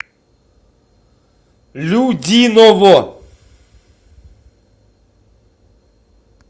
людиново